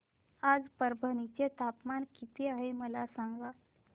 आज परभणी चे तापमान किती आहे मला सांगा